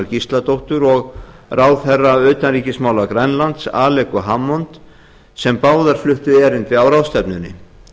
gísladóttur og ráðherra utanríkismála grænlands alequ hammond sem báðar fluttu erindi á ráðstefnunni